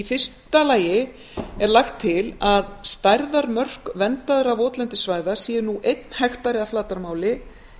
fyrsta lagi er lagt til að stærðarmörk verndaðra votlendissvæða sé nú einn hektari að flatarmáli